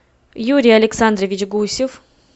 юрий александрович гусев